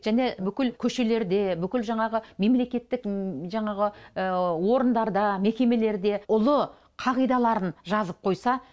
және бүкіл көшелерде бүкіл жаңағы мемлекеттік жаңағы орындарда мекемелерде ұлы қағидаларын жазып қойса